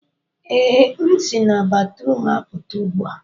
ee, m esi na batrum apụta ugbu a